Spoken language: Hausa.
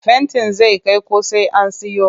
Fentin zai kai ko sai an siyo